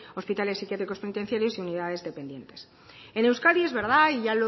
hospitales psiquiátricos penitenciarios y unidades dependientes en euskadi es verdad y ya